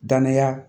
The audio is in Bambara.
Danniya